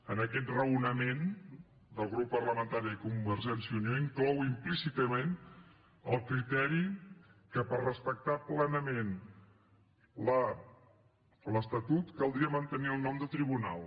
en aquest raonament del grup parlamentari de convergència i unió inclou implícitament el criteri que per respectar plenament l’estatut caldria mantenir el nom de tribunal